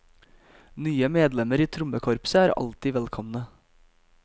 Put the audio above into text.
Nye medlemmer i trommekorpset er alltid velkomne.